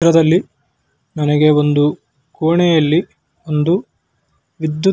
ಚಿತ್ರದಲ್ಲಿ ನನಗೆ ಒಂದು ಕೋಣೆಯಲ್ಲಿ ಒಂದು ವಿದ್ಯುತ್ --